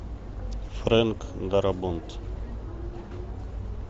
фрэнк дарабонт